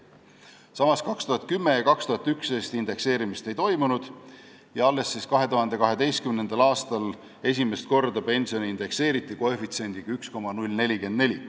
Samas, 2010. ja 2011. aastal indekseerimist ei toimunud ja alles 2012. aastal indekseeriti pension esimest korda koefitsiendiga 1,044.